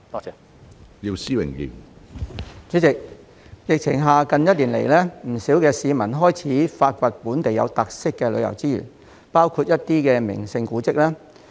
主席，在疫情下，不少市民近1年來開始發掘本地有特色的旅遊資源，包括一些名勝古蹟。